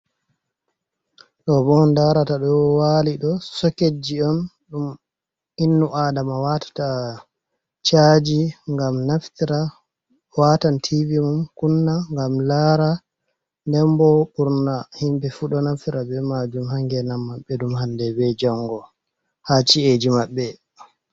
Do bo on darata do wali do soketji on ,dum innu adama watata chaji gam naftira watan tiv mum kunna gam lara den bo burna himbe fu do naftira be majum hangena mabbe dum hande be jango ha ci’eji mabbe.